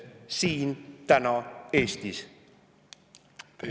Teie aeg!